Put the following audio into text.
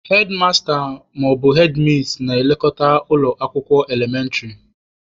Hedmasta/hedmis na-elekọta ụlọ akwụkwọ elementịrị.